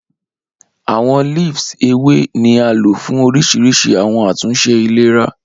Awọn leaves Ewe ni a lo fun orisirisi awọn atunṣe ilera.